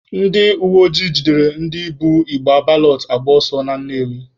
Ndị uweojii jidere ndị bu igbe balọt agba ọsọ na Nnewi.